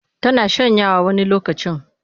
Tana shanyawa wani lokacin.